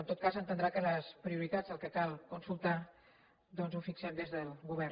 en tot cas entendrà que les prioritats el que cal consultar doncs ho fixem des del govern